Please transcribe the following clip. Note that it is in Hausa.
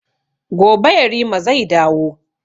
Gobe yarima zai dawo